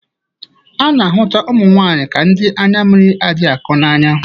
A na-ahụta ụmụ nwaanyị ka ndị anya mmiri adịghị akọ n'anya.